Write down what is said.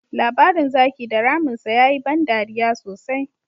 Labarin Zaki da Ramin sa ya yi ban dariya sosai.